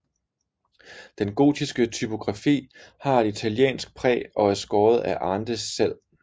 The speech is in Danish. Den gotiske typografi har et italiensk præg og er skåret af Arndes selv